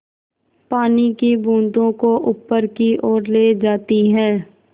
पानी की बूँदों को ऊपर की ओर ले जाती है